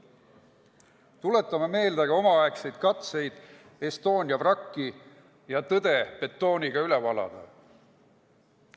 Tuletame meelde ka omaaegseid katseid Estonia vrakki ja tõde betooniga üle valada.